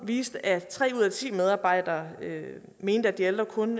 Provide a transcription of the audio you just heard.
viste at tre ud af ti medarbejdere mente at de ældre kun